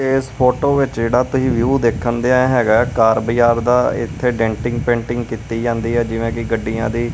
ਇਸ ਫੋਟੋ ਵਿੱਚ ਜਿਹੜਾ ਤੁਸੀਂ ਵਿਊ ਦੇਖਣ ਦੇ ਹੈਗਾ ਕਾਰ ਬਾਜ਼ਾਰ ਦਾ ਇਥੇ ਡੈਂਟਿੰਗ ਪੇਂਟਿੰਗ ਕੀਤੀ ਜਾਂਦੀ ਹ ਜਿਵੇਂ ਕਿ ਗੱਡੀਆਂ ਦੀ।